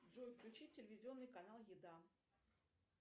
джой включи телевизионный канал еда